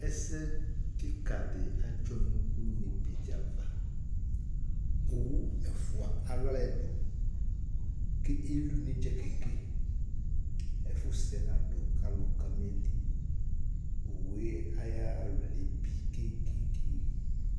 Ɛsɛ kìka di adzɔ nʋ ʋne be di ava Owu ɛfʋa alu alɛ du kʋ eli ʋne uwu Efusɛ nadʋ kʋ alʋ kama eli Owu ye ayʋ alɔ yɛ lebi ke ke ke